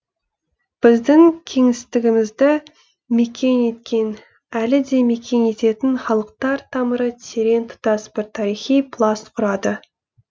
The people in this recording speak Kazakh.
біздің кеңістігімізді мекен еткен әлі де мекен ететін халықтар тамыры терең тұтас бір тарихи пласт құрады